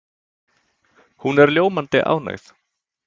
Hún er ljómandi ánægð.